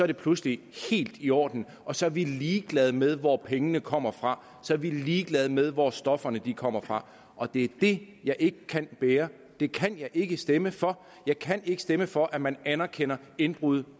det pludselig helt i orden og så er vi ligeglade med hvor pengene kommer fra så er vi ligeglade med hvor stofferne kommer fra og det er det jeg ikke kan bære det kan jeg ikke stemme for jeg kan ikke stemme for at man anerkender indbrud